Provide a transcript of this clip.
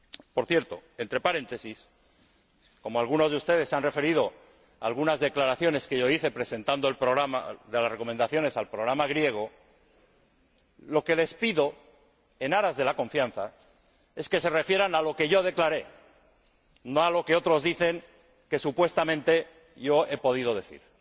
Por cierto, entre paréntesis, como algunos de ustedes se han referido a algunas declaraciones que hice al presentar las recomendaciones al programa griego, les pido, en aras de la confianza, que se refieran a lo que yo declaré, no a lo que otros dicen que supuestamente yo he podido decir.